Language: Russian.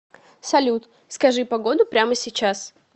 салют скажи погоду прямо сейчас